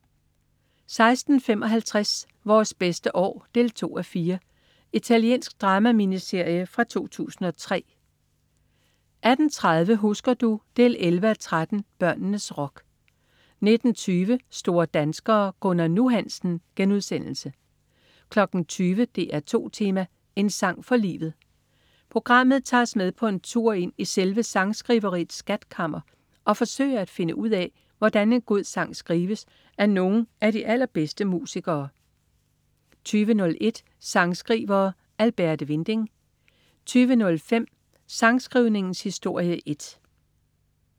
16.55 Vores bedste år 2:4. Italiensk drama-miniserie fra 2003 18.30 Husker du? 11:13. Børnenes rock 19.20 Store danskere. Gunnar "Nu" Hansen* 20.00 DR2 Tema: En sang fra livet. Programmet tager os med på en tur ind i selve sangskriveriets skatkammer og forsøger at finde ud af, hvordan en god sang skrives af nogen af de allerbedste musikere 20.01 Sangskrivere: Alberte Winding 20.05 Sangskrivningens historie 1